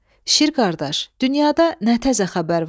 Şir qardaş, dünyada nə təzə xəbər var?